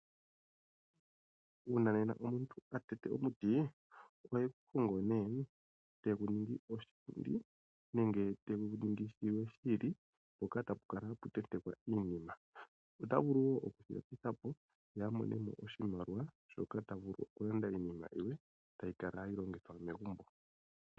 Uuna omuntu atete omuti ohegu hogo eta ningi oshipundi nenge tashi ningi shimwe shi ili mpoka tapu kala hapa tentekwa iinima. Ota vulu wo okushi landitha po ye amone mo iimaliwa shoka tavulu okulanda iinima yilwe tayi kala hayi longithwa megumbo.